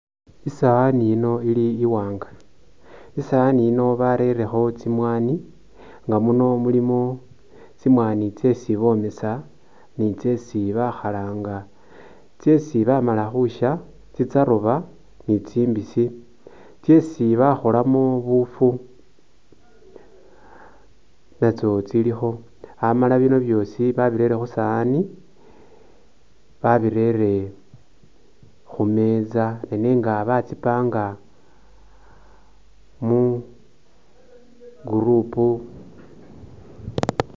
Isawani ino ili iwanga isowani ino barerekho tsimwanyi nga muno mulimo tsimwanyi tsesi bomesa ni tsesi bakhalanga tsesi bamala khusya tsitsaroba ni tsimbisi , tsesi bakholamo bufu natso tsilikho, amala bino byosi babirere khusowani babirere khumeza nenega ba tsi’panga mu group